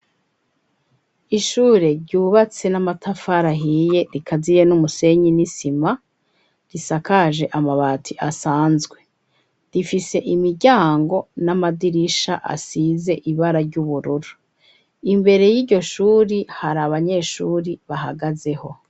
Ishure ryubatse n'amatafari ahiye rikaziye n'umusenyi n'isima, risakaje amabati asanzwe rifise imiryango n'amadirisha asize ibara ry'ubururu. Imbere y'iryo shuri hari abanyeshure bahagazeho.